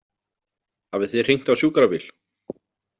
Hafið þið hringt á sjúkrabíl?